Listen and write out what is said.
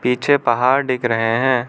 पीछे पहाड़ दिख रहे हैं।